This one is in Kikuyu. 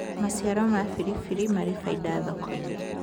maciaro ma biribiri mari baida thoko-inĩ